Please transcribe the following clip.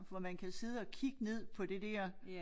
Hvor man kan sidde og kigge ned på det der